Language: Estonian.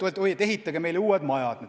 Peaks ehk ütlema, et ehitage meile uued majad.